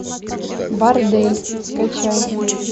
бордель скачай